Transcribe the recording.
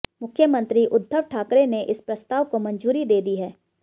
मुख्यमंत्री उद्धव ठाकरे ने इस प्रस्ताव को मंजूरी दे दी है